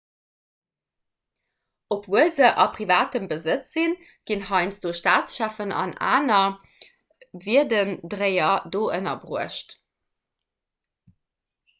obwuel se a privatem besëtz sinn ginn heiansdo staatscheffen an aner wierdendréier do ënnerbruecht